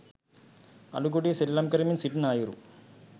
අළුගොඬේ සෙල්ලම් කරමින් සිටින අයුරු